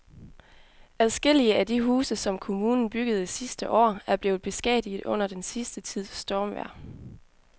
Adskillige af de huse, som kommunen byggede sidste år, er blevet beskadiget under den sidste tids stormvejr.